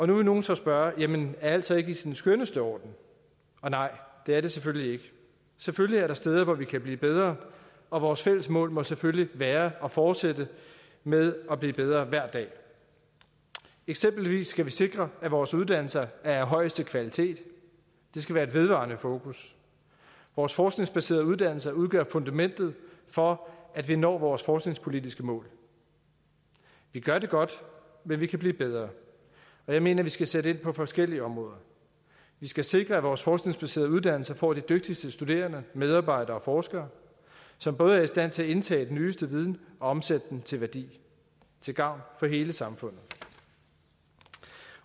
nu vil nogle så spørge jamen er alt så ikke i sin skønneste orden og nej det er det selvfølgelig ikke selvfølgelig er der steder hvor vi kan blive bedre og vores fælles mål må selvfølgelig være at fortsætte med at blive bedre hver dag eksempelvis skal vi sikre at vores uddannelser er af højeste kvalitet det skal være et vedvarende fokus vores forskningsbaserede uddannelser udgør fundamentet for at vi når vores forskningspolitiske mål vi gør det godt men vi kan blive bedre og jeg mener vi skal sætte ind på forskellige områder vi skal sikre at vores forskningsbaserede uddannelser får de dygtigste studerende medarbejdere og forskere som både er i stand til at indtage den nyeste viden og omsætte den til værdi til gavn for hele samfundet